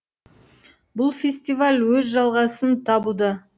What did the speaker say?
бұл фестиваль өз жалғасын табуда